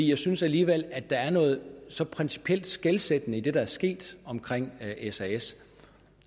jeg synes alligevel at der er noget så principielt skelsættende i det der er sket omkring sas